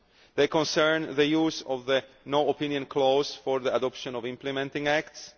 They concern the use of the no opinion clause for the adoption of implementing acts